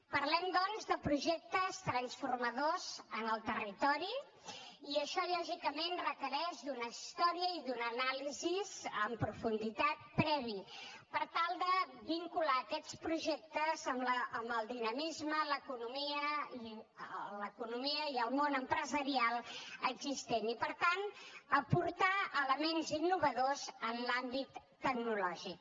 parlem doncs de projectes transformadors en el territori i això lògicament requereix una història i una anàlisi en profunditat prèvies per tal de vincular aquests projectes amb el dinamisme l’economia i el món empresarial existent i per tant a aportar elements innovadors en l’àmbit tecnològic